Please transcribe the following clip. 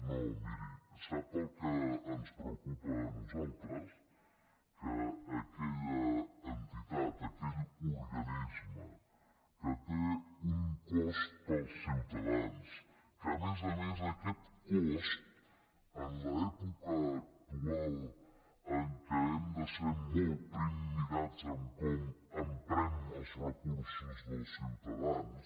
no miri sap el que ens preocupa a nosaltres que aquella entitat aquell organisme que té un cost per als ciutadans que a més a més aquest cost en l’època actual en què hem de ser molt primmirats en com emprem els recursos dels ciutadans